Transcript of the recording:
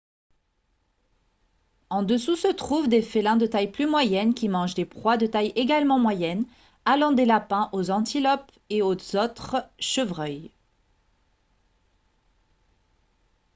en dessous se trouvent des félins de taille plus moyenne qui mangent des proies de taille également moyenne allant des lapins aux antilopes et autres chevreuils